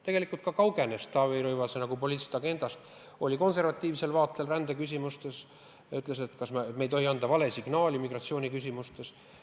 Tegelikult ta kaugenes Taavi Rõivase poliitilisest agendast, oli konservatiivsel arvamusel rändeküsimustes ja ütles, et me ei tohi anda valesignaali migratsiooniküsimuses.